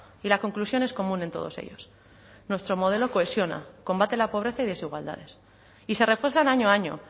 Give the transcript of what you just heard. y la conclusión es común en todos ellos nuestro modelo cohesiona combate la pobreza y desigualdades y se refuerzan año a año